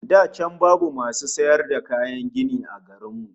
Da can babu masu sayar da kayan gini a garin mu